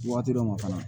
Waati dɔ ma fana